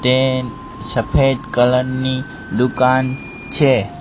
તે સફેદ કલર ની દુકાન છે.